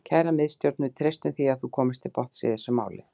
Kæra Miðstjórn, við treystum því að þú komist til botns í þessu máli.